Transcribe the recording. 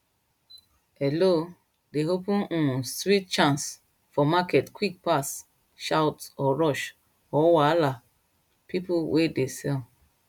hello dey open um sweet chance for market quick pass shout or rush or wahala people wey de sell